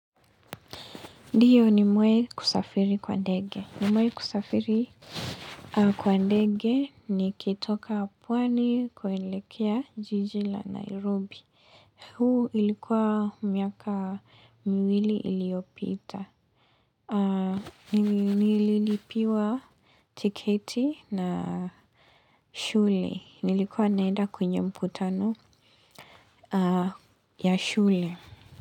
Ndiyo ni mwee kusafiri kwa ndege. Ni mwee kusafiri kwa ndege nikitoka pwani kuelekea jiji la Nairobi. Huu ilikuwa miaka miwili iliyopita. Nililipiwa tiketi na shule. Nilikuwa naenda kwenye mkutano ya shule.